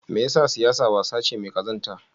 Me yasa siyasa wasa ce mai kazanta?